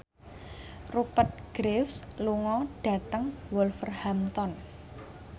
Rupert Graves lunga dhateng Wolverhampton